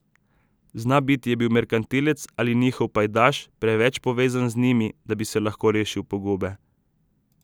Znabiti je bil merkantilec ali njihov pajdaš, preveč povezan z njimi, da bi se lahko rešil pogube.